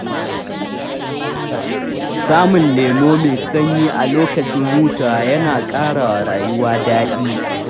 Samun lemo mai sanyi a lokacin hutawa yana ƙarawa rayuwa daɗi.